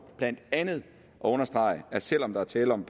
blandt andet at understrege at selv om der er tale om